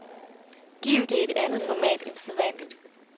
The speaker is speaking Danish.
Giv det et andet format end sædvanligt.